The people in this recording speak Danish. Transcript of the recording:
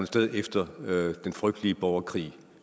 sted efter den frygtelige borgerkrig